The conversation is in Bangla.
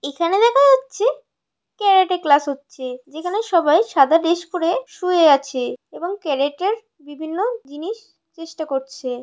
এখানে দেখা যাচ্ছে ক্যারেটার ক্লাস হচ্ছে। যেখানে সবাই সাদা ড্রেস পরে শুয়ে আছে এবং ক্যারেটার বিভিন্ন জিনিস চেষ্টা করছে।